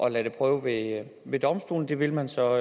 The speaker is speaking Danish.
at lade det prøve ved ved domstolene det vil man så